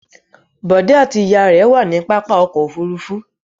Bọ̀dé àti ìyá rẹ̀ wà ní pápá ọkọ̀-òfurufú.